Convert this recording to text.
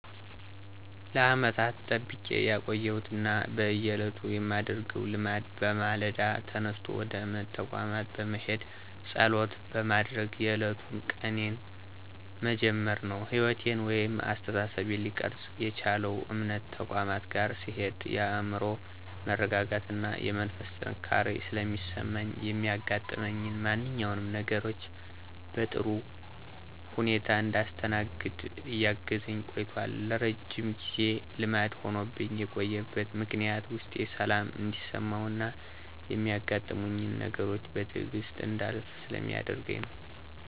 ለዓመታት ጠብቄ ያቆየሁት ና በየዕለቱ ማደርገው ልማድ በማለዳ ተነስቶ ወደ እምነት ተቋማት በመሄድና ፀሎት በማድረግ የዕለቱን ቀኔን መጀመር ነው። ሕይወቴን ወይም አስተሳሰቤን ሊቀርፅ የቻለው እምነት ተቋማት ጋር ስሄድ የአዕምሮ መረጋጋትና የመንፈስ ጥንካሬ ስለሚሰማኝ ሚያጋጥሙኝን ማንኛውንም ነገሮች በጥሩ ሁኔታ እንዳስተናግድ እያገዘኝ ቆይቶል። ለረጅም ጊዜ ልማድ ሆኖብኝ የቆየበት ምክንያትም ውስጤ ሰላም እንዲሰማውና ሚያጋጥሙኝን ነገሮች በትዕግስት እንዳልፍ ስለሚያደርገኝ ነው።